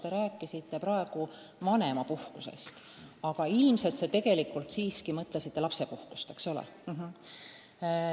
Te rääkisite praegu vanemapuhkusest, aga ilmselt te tegelikult mõtlesite lapsepuhkust, eks ole.